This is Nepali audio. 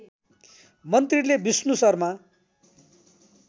मन्त्रीले विष्णु शर्मा